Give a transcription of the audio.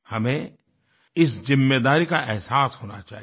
हमें इस ज़िम्मेदारी का अहसास होना चाहिए